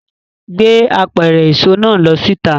Gbé apẹ̀rẹ̀ èso náà lọ síta!